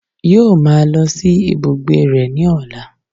Yóò máa lọ sí ibùgbé rẹ̀ ní ọ̀la